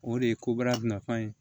O de ye kobara nafa ye